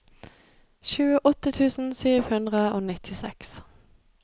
tjueåtte tusen sju hundre og nittiseks